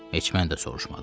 Heç mən də soruşmadım.